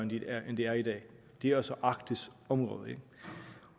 end det er i dag det er altså arktisk område